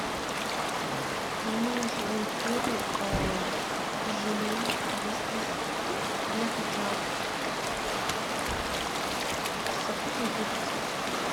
мне нужен корм желе вискас для котят со вкусом курицы